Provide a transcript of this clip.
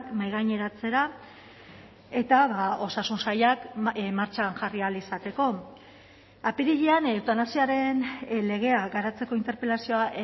mahaigaineratzera eta osasun sailak martxan jarri ahal izateko apirilean eutanasiaren legea garatzeko interpelazioa